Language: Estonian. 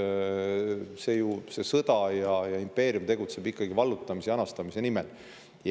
Seda sõda pidav impeerium tegutseb ikkagi vallutamise ja anastamise nimel.